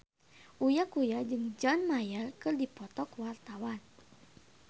Uya Kuya jeung John Mayer keur dipoto ku wartawan